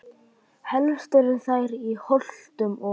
Helst eru þær í Holtum og